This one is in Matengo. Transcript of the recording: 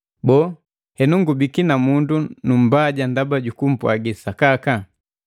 Boo, henu ngubiki namundu numbaja ndaba jukumpwagi sakaka?